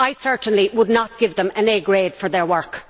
I certainly would not give them an A' grade for their work.